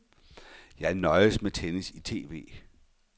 Jeg nøjes med tennis i TV.